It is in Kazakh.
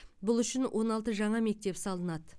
бұл үшін он алты жаңа мектеп салынады